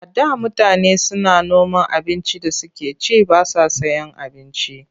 A da mutane suna noma abincin da suke ci ba sa sayen abinci.